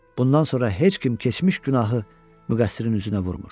Bundan sonra heç kim keçmiş günahı müqəssirin üzünə vurmur.